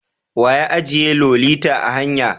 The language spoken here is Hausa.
Wa ya ajiye Lolita a hanya?